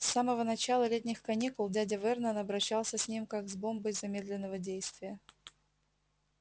с самого начала летних каникул дядя вернон обращался с ним как с бомбой замедленного действия